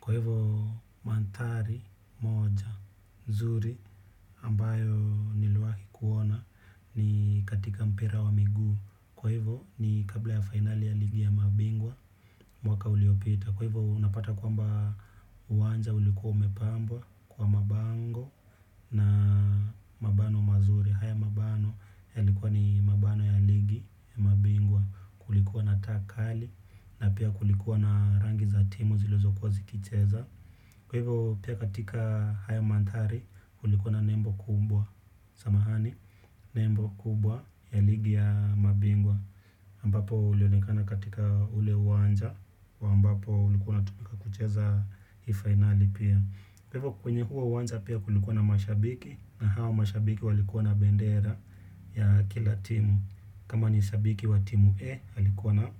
Kwa hivyo mandhari moja nzuri ambayo niliwahi kuona ni katika mpira wa miguu. Kwa hivyo ni kabla ya finali ya ligi ya mabingwa mwaka uliopita. Kwa hivyo unapata kwamba uwanja ulikuwa umepambwa kwa mabango na mabano mazuri. Haya mabano yalikuwa ni mabano ya ligi ya mabingwa. Kulikuwa na taa kali na pia kulikuwa na rangi za timu zilizokuwa zikicheza. Kwa hivyo pia katika haya mandhari, kulikuwa na nembo kumbwa, samahani, nembo kubwa ya ligi ya mabingwa ambapo ulionekana katika ule uwanja, wa ambapo ulikuwa unatumika kucheza hii fainali pia. Kwa hivyo kwenye huo uwanja pia kulikuwa na mashabiki, na hawa mashabiki walikuwa na bendera ya kila timu. Kama ni shabiki wa timu E, alikuwa na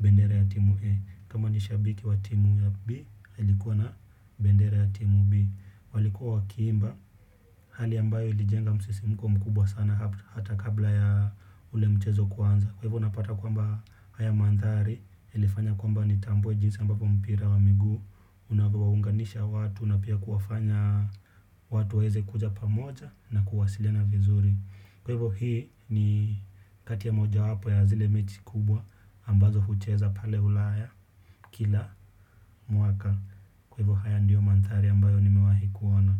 bendera ya timu E. Kama ni shabiki wa timu B, alikuwa na bendera ya timu B. Walikuwa wakiimba, hali ambayo ilijenga msisimuko mkubwa sana hata kabla ya ule mchezo kuanza. Kwa hivo unapata kwamba haya mandhari yalifanya kwamba nitambue jinsi ambapo mpira wa miguu unavyowaunganisha watu na pia kuwafanya watu waweze kuja pamoja na kuwasiliana vizuri. Kwa hivo hii ni kati ya moja wapo ya zile mechi kubwa ambazo hucheza pale ulaya kila mwaka. Kwa hivyo haya ndio mandhari ambayo nimewahi kuona.